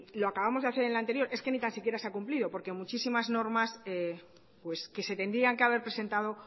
lo acabamos de hacer en el anterior es que ni tan siquiera se ha cumplido porque muchísimas normas que se tendrían que haber presentado